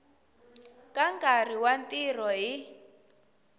ka nkarhi wa ntirho hi